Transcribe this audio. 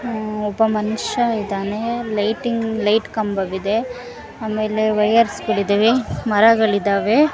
ಇದೆ ಒಬ್ಬ ಮನುಷ್ಯ ಇದ್ದಾನೆ ಒಂದು ಲೈಟಿಂಗ್ ಕಂಬ ವಿದೇ ಹಾಗು ವೈರ್ಲೆಸ್ ಗಳು ಇದಾವೆ ಮರಗಳು ಇದಾವೆ.